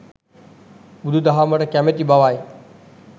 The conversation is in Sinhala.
බුදුදහමට කැමැති බවයි.